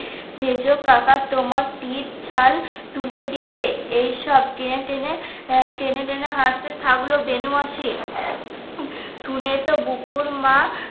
সেজকাকা তোমার পিঠ ছাল তুলে দিবে এই সব টেনে টেনে টেনে টেনে হাসতে থাকলো বেনু মাসি শুনে তো বুকুর মা